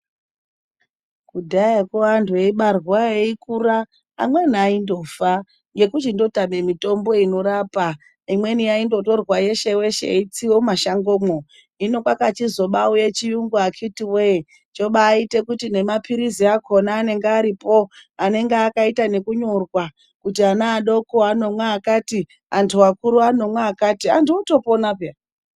Kudhayakwo anhtu eibarwa eikura ,amweni aindofa ngechindotama mitombo inorapa. Imweni yaindotorwa weshe weshe yeitsiwa mumashangomwo, hino, kwakachizobauya chiyungu akhiti woye, zvinobaite kuti nemapilizi akhona anenge aripo, anenge akaita nekunyorwa kuti ana adoko anomwa akati ,anthu akura anomwa akati anthu otopona peya.